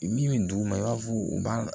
Min bɛ duguma i b'a fɔ u b'a